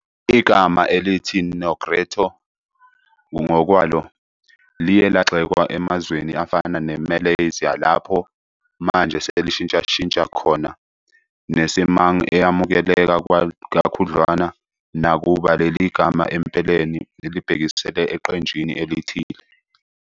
Igama elithi Negrito ngokwalo liye lagxekwa emazweni afana ne-Malaysia, lapho manje selishintshashintsha khona ne-Semang eyamukeleka kakhudlwana, nakuba leli gama empeleni libhekisela eqenjini elithile.